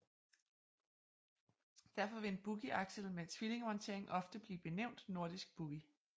Derfor vil en boogieaksel med tvillingemontering ofte blive benævnt nordisk boogie